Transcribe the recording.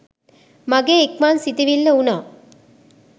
මගේ ඉක්මන් සිතිවිල්ල වුනා.